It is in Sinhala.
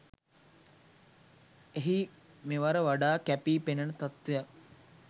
එහි මෙවර වඩාත් කැපී පෙනෙන තත්ත්වයක්